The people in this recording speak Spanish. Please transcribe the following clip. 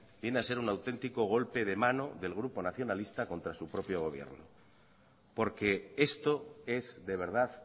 viene a ser un auténtico golpe de mano del grupo nacionalista contra su propio gobierno porque esto es de verdad